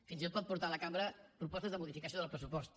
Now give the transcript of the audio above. fins i tot pot portar a la cambra propostes de modificació del pressupost